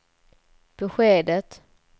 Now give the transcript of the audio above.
beskedet